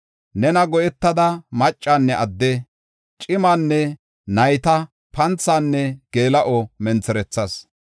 Nena go7etada maccanne adde, cimanne nayta panthinne geela7o mentherethas.